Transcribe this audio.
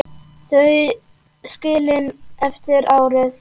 Þau skilin eftir árið.